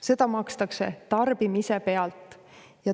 Seda makstakse tarbimise pealt.